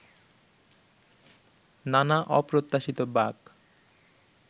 নানা অপ্রত্যাশিত বাঁক